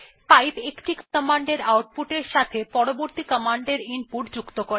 pipe একটি কমান্ডের output এর সাথে পরবর্তী কমান্ডের ইনপুট যুক্ত করে